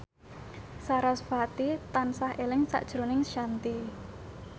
sarasvati tansah eling sakjroning Shanti